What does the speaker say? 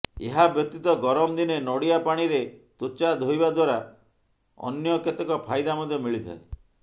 ଏହା ବ୍ୟତୀତ ଗରମ ଦିନେ ନଡ଼ିଆ ପାଣିରେ ତ୍ବଚା ଧୋଇବା ଦ୍ବାରା ଅନ୍ୟ କେତେକ ଫାଇଦା ମଧ୍ୟ ମିଳିଥାଏ